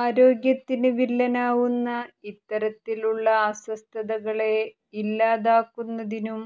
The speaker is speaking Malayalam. ആരോഗ്യത്തിന് വില്ലനാവുന്ന ഇത്തരത്തിലുള്ള അസ്വസ്ഥതകളെ ഇല്ലാതാക്കുന്നതിനും